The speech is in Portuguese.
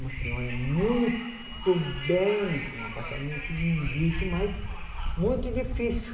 Uma senhora muito bem, um apartamento lindíssimo, mas muito difícil.